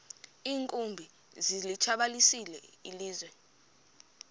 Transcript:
iinkumbi zilitshabalalisile ilizwe